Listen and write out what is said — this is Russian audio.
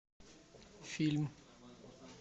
фильм